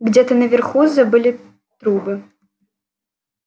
где-то наверху забыли трубы